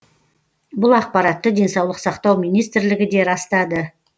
бұл ақпаратты денсаулық сақтау министрлігі де растады